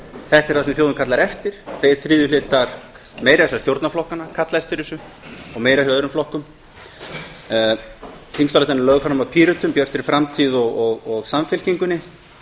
þetta er það sem þjóðin kallar eftir tveir þriðju hlutar meira að segja stjórnarflokkanna kalla eftir og meira hjá öðrum flokkum þingsályktunartillagan er lögð fram af pírötum bjartri framtíð og samfylkingunni